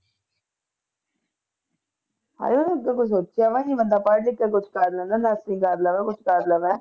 ਹਾਏ ਉਹਨੂੰ ਸੋਚਿਆ ਬੰਦਾ ਪੜ੍ਹ ਲਿਖ ਕੇ ਕੁਛ ਕਰ ਲੈਂਦਾ ਕਰ ਲੈਂਦਾ ਕੁਛ ਕਰ ਲੈਂਦਾ।